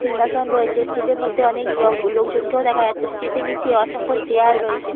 সিংহাসন রয়েছে স্টেজ -এর মধ্যে অনেক লোক লোকজন কেও দেখা যাচ্ছে |স্টেজ -এর নিচে অসংখ্য চেয়ার রয়েছে।